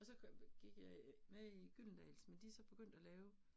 Og så kom, gik jeg øh med i Gyldendals, men de så begyndt at lave